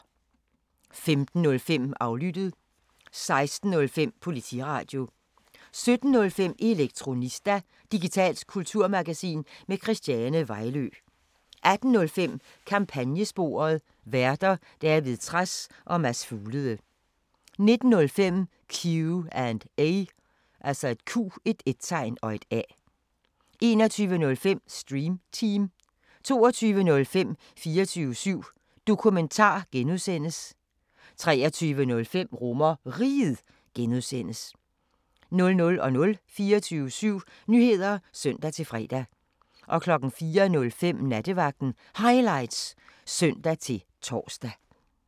15:05: Aflyttet 16:05: Politiradio 17:05: Elektronista – digitalt kulturmagasin med Christiane Vejlø 18:05: Kampagnesporet: Værter: David Trads og Mads Fuglede 19:05: Q&A 21:05: Stream Team 22:05: 24syv Dokumentar (G) 23:05: RomerRiget (G) 00:00: 24syv Nyheder (søn-fre) 04:05: Nattevagten Highlights (søn-tor)